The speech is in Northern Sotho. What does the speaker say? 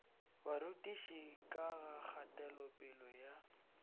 barutiši ka ga kgatelopele ya